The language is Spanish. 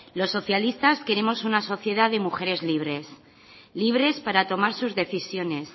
los socialistas queremos una sociedad de mujeres libres libres para tomar sus decisiones